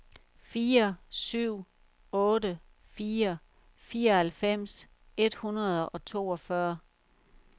fire syv otte fire fireoghalvfems et hundrede og toogfyrre